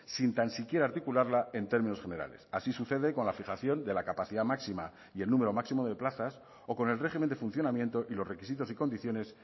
sin tan siquiera articularla en términos generales así sucede con la fijación de la capacidad máxima y el número máximo de plazas o con el régimen de funcionamiento y los requisitos y condiciones